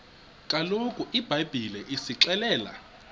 kaloku ibhayibhile isixelela